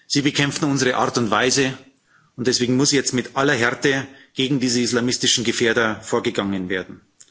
Sie bekämpfen unsere Art und Weise, und deswegen muss jetzt mit aller Härte gegen diese islamistischen Gefährder vorgegangen werden.